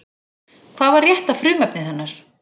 Hvað var rétta frumefnið hennar?